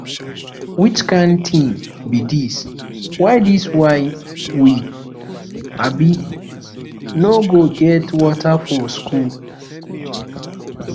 which kin thing be dis why dis why we um no go get water for school